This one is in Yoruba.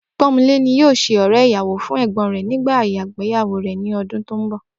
Pó̩nmilé ni yóò s̩e ò̩ré̩ ìyàwó fún è̩gbó̩n rẹ̀ nígbà ìgbéyàwó rè̩ ní o̩dún tó ń bò̩